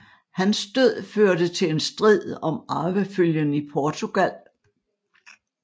Hans død førte til en strid om arvefølgen i Portugal